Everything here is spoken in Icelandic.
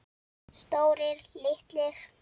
Stórir, litlir.